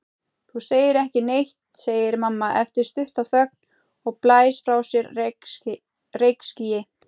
Þú segir ekki neitt, segir mamma eftir stutta þögn og blæs frá sér reykskýi.